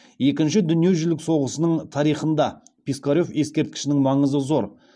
екінші дүниежүзілік соғысының тарихында пискарев ескерткішінің маңызы зор